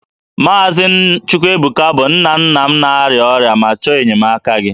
Maazị Chukwuebuka bụ nna nna m na-arịa ọrịa ma chọọ enyemaka gị